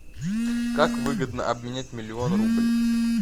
как выгодно обменять миллион рублей